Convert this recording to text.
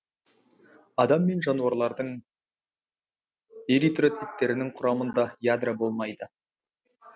адам мен жануарлардың эритроциттерның құрамында ядро болмайды